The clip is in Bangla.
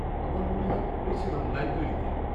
আমার মনে হয় করেছিলাম; লাইব্রেরিতে।